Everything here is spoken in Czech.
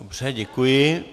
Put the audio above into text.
Dobře, děkuji.